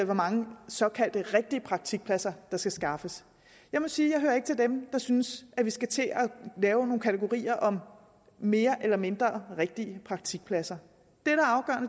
hvor mange såkaldte rigtige praktikpladser der skal skaffes jeg må sige at hører til dem der synes at vi skal til at lave nogle kategorier om mere eller mindre rigtige praktikpladser